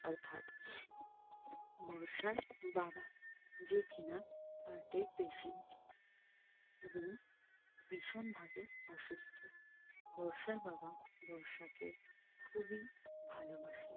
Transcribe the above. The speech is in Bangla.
অর্থাৎ বর্ষার বাবা যে কিনা হার্টের Patient এবং ভীষণ ভাবে অসুস্থ বর্ষার বাবা বর্ষাকে খুবই ভালো বাসে